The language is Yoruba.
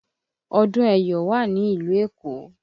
Ọdún ẹ̀yọ̀ wà ní ìlú Èkó